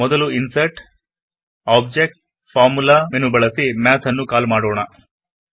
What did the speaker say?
ಮೊದಲು insert object formula menu ಬಳಸಿ math ನ್ನು ಕಾಲ್ ಮಾಡೋಣ